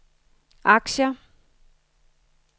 aktier